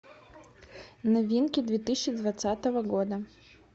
новинки две тысячи двадцатого года